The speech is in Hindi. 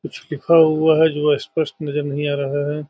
कुछ लिखा हुआ है जो स्‍पष्‍ट नज़र नही आ रहा है।